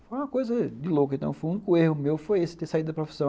Foi uma coisa de louco, então o único erro meu foi esse, ter saído da profissão.